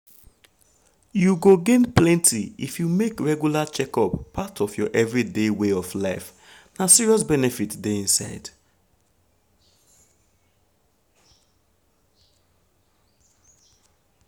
you go gain plenty if you make regular checkup part of your everyday way of life. na serious benefit dey inside.